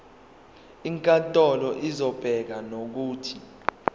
inkantolo izobeka nokuthi